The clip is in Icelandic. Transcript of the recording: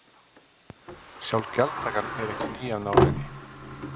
Sjálf gjaldtakan er ekki ný af nálinni.